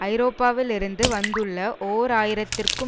ஐரோப்பாவிலிருந்து வந்துள்ள ஓர் ஆயிரம் த்திற்கும்